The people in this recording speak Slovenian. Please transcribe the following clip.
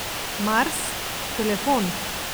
Mars, telefon!